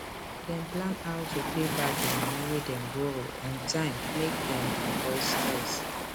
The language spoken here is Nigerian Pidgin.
dem plan how to pay back di money wey dem borrow on time make dem avoid stres